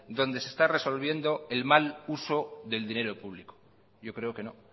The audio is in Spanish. donde se esta resolviendo el mal uso del dinero público yo creo que no